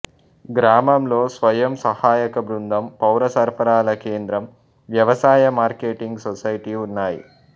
గ్రామంలో స్వయం సహాయక బృందం పౌర సరఫరాల కేంద్రం వ్యవసాయ మార్కెటింగ్ సొసైటీ ఉన్నాయి